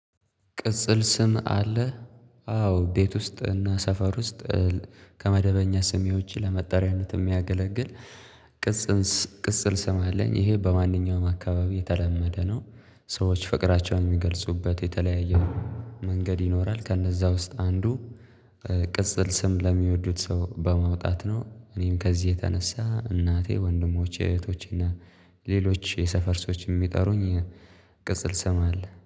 ቅጽል ስም አለህ? አዎ ቤት ውስጥ እና ሰፈር ውስጥ ከመደበኛ ስሜ ዉጭ ለመጠሪያነት የሚያገለግል ቅጽል ቅጽል ስም አለኝ ይሄ በማንኛውም አካባቢ የተለመደ ነው ሰዎች ፍቅራቸውን የሚገልጹበት የተለያየ መንገድ ይኖራል ከነዛ ውስጥ አንዱ ቅጽል ስም ለሚወዱት ሰው በማውጣት ነው እኔም ከዚህ የተነሳ እናቴ፣ ወንድሞች፣ እህቶችና ሌሎች የሰፈር ሰዎችም የሚጠሩኝ ቅጽል ስም አለ።